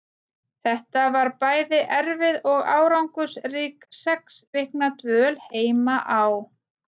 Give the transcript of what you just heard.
Þetta var bæði erfið og árangursrík sex vikna dvöl heima á